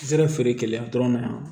Sera feere kɛ yan dɔrɔn